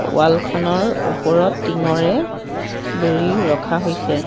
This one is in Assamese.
ৱাল খনৰ ওপৰত টিংঙৰে বেৰি ৰখা হৈছে।